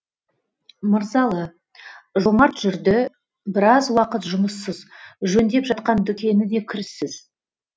мырзалы жомарт жүрді біраз уақыт жұмыссыз жөндеп жатқан дүкені де кіріссіз